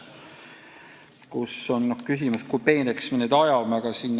Muidugi on küsimus, kui peeneks me need vahemikud ajame.